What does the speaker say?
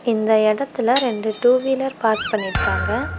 இந்த எடத்தில ரெண்டு டூ வீலர் பார்க் பண்ணிருக்காங்க.